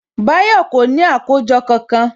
Báyọ̀ kò ní àkójọ kankan